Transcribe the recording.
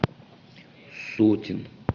сотин